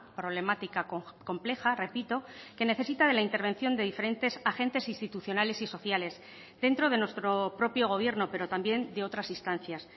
problemática compleja repito que necesita de la intervención de diferentes agentes institucionales y sociales dentro de nuestro propio gobierno pero también de otras instancias